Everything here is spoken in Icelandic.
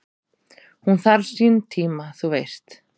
"""Hún þarf sinn tíma, þú veist"""